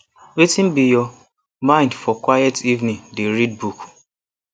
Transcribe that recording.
wetin be your mind for quiet evening dey read book